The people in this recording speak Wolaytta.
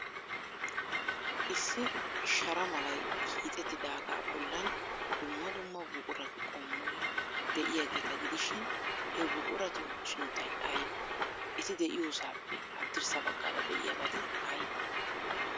Issi shara malay hiixettidaaga bollan dumma dumma buquratu qommoy de'iyaageeta gidishin, he buquratu sunttay aybee? Eti de'iyoosaappe haddirssa baggaara de'iyabati aybee?